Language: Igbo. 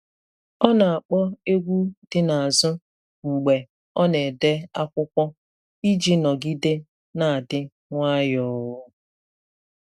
Ọ na-akpọ egwu dị n’azụ mgbe ọ na-ede akwụkwọ iji nọgide na-adị nwayọọ.